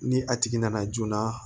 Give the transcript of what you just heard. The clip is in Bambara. Ni a tigi nana joona